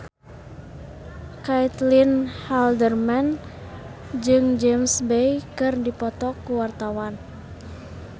Caitlin Halderman jeung James Bay keur dipoto ku wartawan